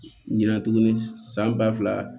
Ɲina tuguni san ba fila